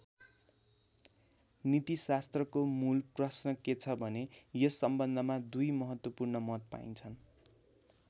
नीतिशास्त्रको मूल प्रश्न के छ भने यस सम्बन्धमा दुई महत्त्वपूर्ण मत पाइन्छन्।